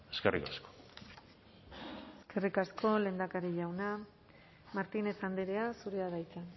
eskerrik asko eskerrik asko lehendakari jauna martínez andrea zurea da hitza